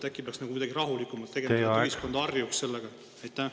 Äkki peaks seda kuidagi rahulikumalt tegema, et ühiskond harjuks sellega?